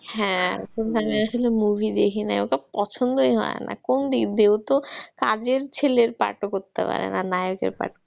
হ্যাঁ কোনখানে আসলে movie দেখি নাই ওটা পছন্দই হয় না। কোন দিক দিয়ে ওতো কাজের ছেলের পাঠও করতে পারে না। নায়কের পাঠ,